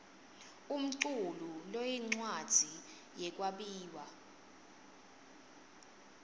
umculu loyincwadzi yekwabiwa